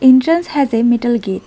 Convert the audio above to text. Entrance has a metal gate.